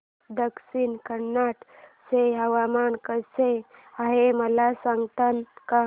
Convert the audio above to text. आज दक्षिण कन्नड चे हवामान कसे आहे मला सांगता का